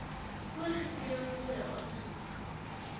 voorgeskrewe fooie aansoek